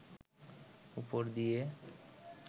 উপর দিয়ে